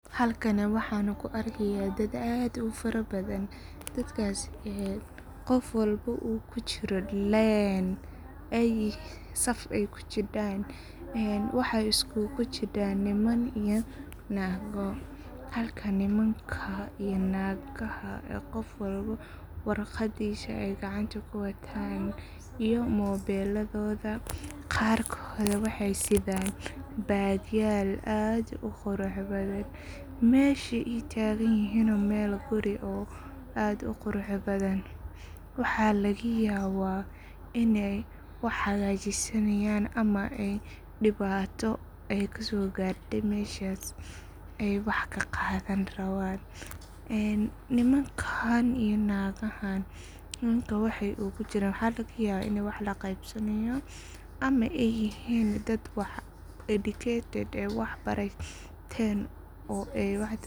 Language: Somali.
Halkani waxan ku arkaya dad aad u fara badan. Dadkas qof walba uu kujiro leen, saf ay kujidan waxey isugu jidan niman iyo nago. Halka nimanka iyo nagaha qof walba uu warqadisa gacanta ku watan iyo mobel yadoda ,qarkod waxey sitan bagyal oo zaid u qurux badan, mesha ay tagan yihin oo mel guri oo aad u qurux badan ,waxa laga yawa iney wax hagajisanayan ama dibato ay kaso garte meshas ay wax kaqadan raban .Nimankan iyo dagahan waxa laga yaba iney wax qeyb sanayan ama laga yaba dad waxa lagayaba educated oo wax barten.